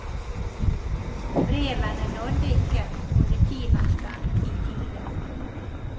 Brevene nådde ikke politimesteren i tide.